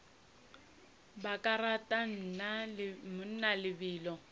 ba ka rata mna lebelo